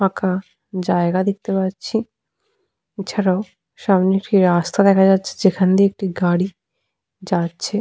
ফাঁকা জায়গা দেখতে পাচ্ছি। এছাড়াও সামনে একটি রাস্তা দেখা যাচ্ছে যেখান দিয়ে একটি গাড়ি যাচ্ছে।